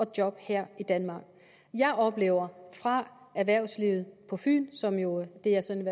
job her i danmark jeg oplever fra erhvervslivet på fyn som jo er det jeg sådan